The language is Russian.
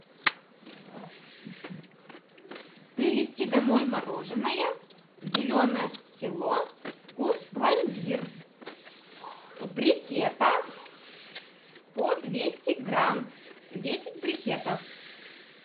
привезти домой мороженное зеленое село вкус пломбир в брикетах по двести грамм десять брикетов